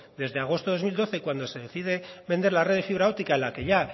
desde agosto del dos mil doce cuando se decide vender la red de fibra óptica en la que ya